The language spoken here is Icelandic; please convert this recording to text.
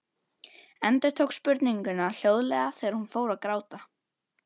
Endurtók spurninguna hljóðlega þegar hún fór að gráta.